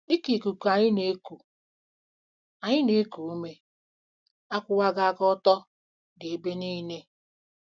DỊ KA ikuku anyị na-eku anyị na-eku ume, akwụwaghị aka ọtọ dị ebe niile.